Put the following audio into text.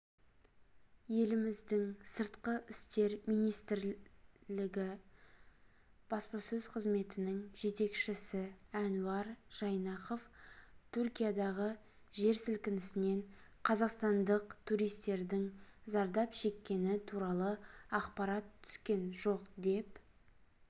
еліміздің сыртқы істер министрілігі баспасөз қызметінің жетекшісі әнуар жайнақов түркиядағы жер сілкінісінен қазақстандық туристердің зардап шеккені туралы ақпарат түскен жоқ деп